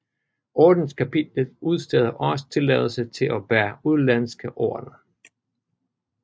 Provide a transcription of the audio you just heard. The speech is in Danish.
Ordenskapitlet udsteder også tilladelser til at bære udenlandske ordener